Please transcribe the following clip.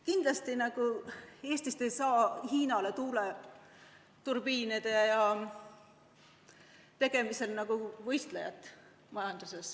Kindlasti Eestist ei saa Hiinale tuuleturbiinide tegemisel võistlejat.